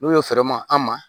N'o ye fɛrɛ ma an ma